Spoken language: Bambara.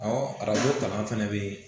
arajo kalan fana bɛ yen